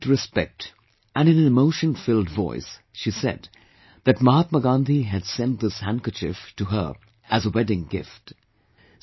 With great respect and in an emotion filled voice, she said, that Mahatma Gandhi had sent this handkerchief to her as a wedding gift